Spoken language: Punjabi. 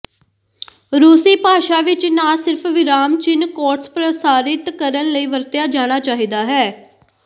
ਰੂਸੀ ਭਾਸ਼ਾ ਵਿਚ ਨਾ ਸਿਰਫ ਵਿਰਾਮ ਚਿੰਨ੍ਹ ਕੋਟਸ ਪ੍ਰਸਾਰਿਤ ਕਰਨ ਲਈ ਵਰਤਿਆ ਜਾਣਾ ਚਾਹੀਦਾ ਹੈ